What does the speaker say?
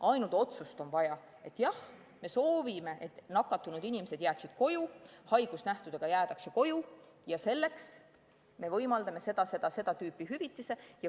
Ainult otsust on vaja, et jah, me soovime, et nakatunud inimesed jääksid koju, et haigusnähtudega jäädakse koju, ning selleks me võimaldame seda või teist tüüpi hüvitise.